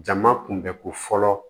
Jama kunbɛ ko fɔlɔ